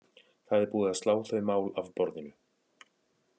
Það er búið slá þau mál af borðinu.